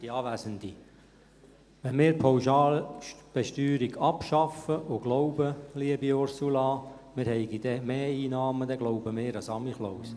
Wenn wir die Pauschalbesteuerung abschaffen und glauben, liebe Ursula Marti, wir hätten dann mehr Einnahmen, dann glauben wir an den Sankt Nikolaus.